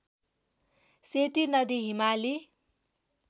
सेती नदी हिमाली